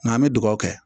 Nka an bɛ dugawu kɛ